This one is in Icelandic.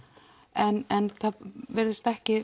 en það virðist ekki